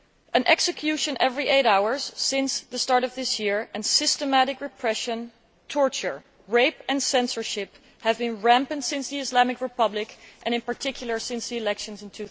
One execution every eight hours since the start of this year, and systematic repression, torture, rape and censorship have been rampant during the Islamic Republic, and, in particular, since the elections in